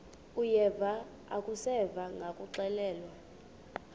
uyeva akuseva ngakuxelelwa